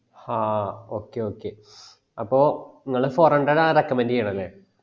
ഹാ okay okay അപ്പൊ ഇങ്ങള് four hundred ആണ് recommend ചെയ്യണേ അല്ലെ